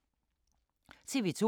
TV 2